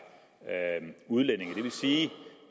udlændinge det vil sige